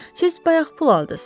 Siz bayaq pul aldız.